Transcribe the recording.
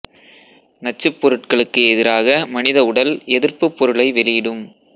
நச்சுப் பொருட்களுக்கு எதிராக மனித உடல் எதிர்ப்புப் பொருளை வெளியிடும்